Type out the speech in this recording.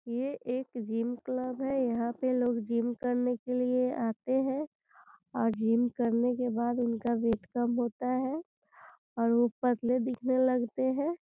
ये एक gym club हैं यहाँ पर लोग जिम करने के लिए आते हैं और जिम करने के बाद उनका वेट कम होता हैं और वो पतले दिखने लगते हैं।